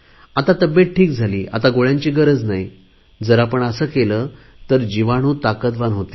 आता तब्येत ठीक झाली आता गोळ्यांची गरज नाही जर आपण असे केले तर जीवाणू ताकदवान होतील